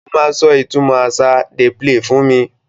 Ó máa sọ ìtumọ̀ àṣà ‘Dey play’ fún mi.